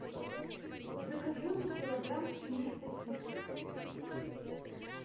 закажи мне килограмм свиных сосисок